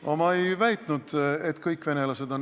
No ma ei väitnud, et kõik venelased seda on.